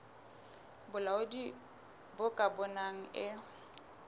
bolaodi bo ka bonang e